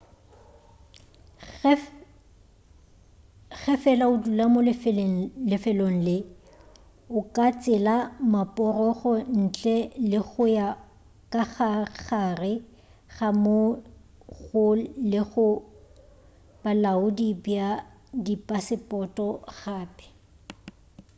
ge fela o dula mo lefelong le o ka tsela maporogo ntle le go ya ka gare ga moo go lego bolaodi bja dipasepoto gape